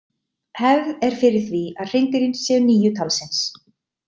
Hefð er fyrir því að hreindýrin séu níu talsins.